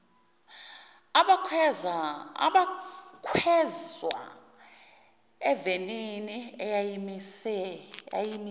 abakhweza evenini eyayimise